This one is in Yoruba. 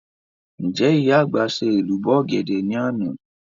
Ǹjẹ́ ìyá àgbà ṣe èlùbọ́ ọ̀gẹ̀dẹ̀ ní àná?